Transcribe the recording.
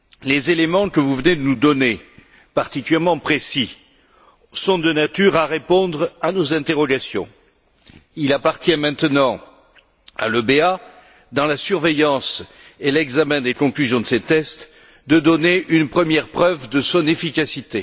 Les éléments que vous venez de nous donner, particulièrement précis, sont de nature à répondre à nos interrogations. Il appartient maintenant à l'EBA, dans la surveillance et l'examen des conclusions de ces tests, de donner une première preuve de son efficacité.